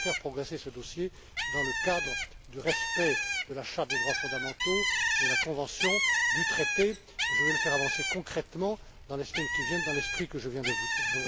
Mais je vais faire progresser ce dossier dans le cadre du respect de la charte des droits fondamentaux, de la convention, du traité. Je vais le faire avancer concrètement dans les semaines qui viennent dans l'esprit que je viens de vous dire.